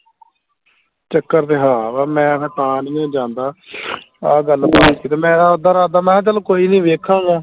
ਚੱਕਰ ਤੇ ਹਾ ਵਾ ਮੈਂ ਫੇਰ ਤਾਂ ਨਹੀਂਓ ਜਾਂਦਾ ਆਹ ਗੱਲ ਸੀ ਤੇ ਮੈਂ ਉੱਦਾਂ ਰਾਦਾ ਮੈਂ ਕਿਹਾ ਚੱਲ ਕੋਈ ਨਹੀਂ ਵੇਖਾਂਗਾ